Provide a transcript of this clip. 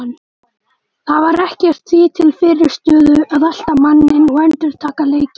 Það var ekkert því til fyrirstöðu að elta manninn og endurtaka leikinn.